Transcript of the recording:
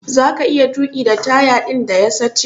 Zaka iya tuki da taya din da ya sache?